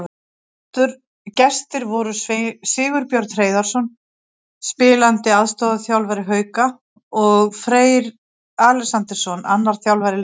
Gestir voru Sigurbjörn Hreiðarsson, spilandi aðstoðarþjálfari Hauka, og Freyr Alexandersson, annar þjálfara Leiknis.